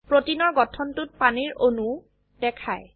প্ৰোটিনৰ গঠনটোত পানীৰ অণুও দেখায়